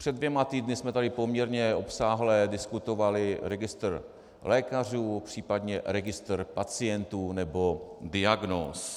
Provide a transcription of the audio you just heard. Před dvěma týdny jsme tady poměrně obsáhle diskutovali registr lékařů, případně registr pacientů nebo diagnóz.